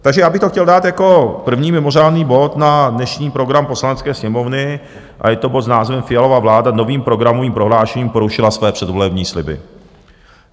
Takže já bych to chtěl dát jako první mimořádný bod na dnešní program Poslanecké sněmovny a je to bod s názvem Fialova vláda novým programovým prohlášením porušila své předvolební sliby.